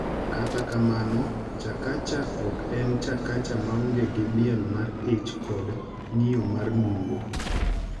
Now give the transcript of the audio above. Kata kamano, Chakacha ok en Chakacha maonge gi miel mar ich kod ng’iyo mar nungo.